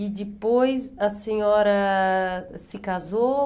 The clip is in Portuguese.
E depois a senhora se casou?